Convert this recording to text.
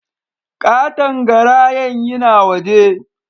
Katon garayan yina waje